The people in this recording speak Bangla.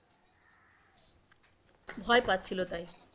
ভয় পাচ্ছিল তাই,